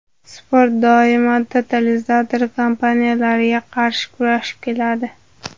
Sport doimo totalizator kompaniyalariga qarshi kurashib keladi.